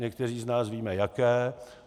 Někteří z nás víme, jaké.